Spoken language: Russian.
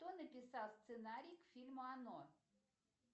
кто написал сценарий к фильму оно